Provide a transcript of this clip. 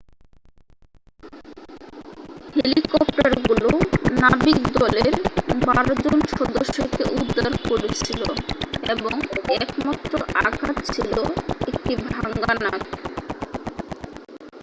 হেলিকপ্টারগুলো নাবিকদলের বারো জন সদস্যকে উদ্ধার করেছিল এবং একমাত্র আঘাত ছিল একটি ভাঙ্গা নাক